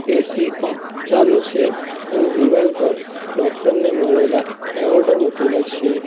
AC અહ ચાલુ છે અને દિવાલ પર ડોક્ટર ને મળેલા એવોર્ડો મૂકેલા છે.